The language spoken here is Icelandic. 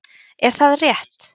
Er það rétt?